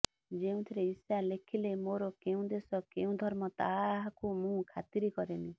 ଯେଉଁଥିରେ ଇଶା ଲେଖିଲେ ମୋର କେଉଁ ଦେଶ କେଉଁ ଧର୍ମ ତାହାକୁ ମୁଁ ଖାତିର କରେନି